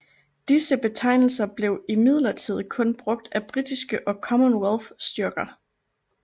Disse betegnelser blev imidlertid kun brugt af britiske og Commonwealth styrker